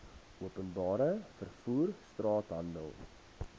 openbare vervoer straathandel